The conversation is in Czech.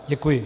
Děkuji.